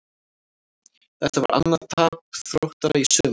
Þetta var annað tap Þróttara í sumar.